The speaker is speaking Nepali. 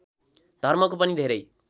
धर्मको पनि धेरै